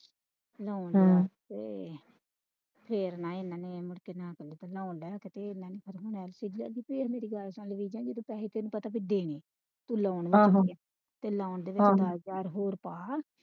ਤੇ ਹਮ ਤੇ ਪੈਹੇ ਤੈਨੂੰ ਪਤਾ ਕੇ ਦੇਣੇ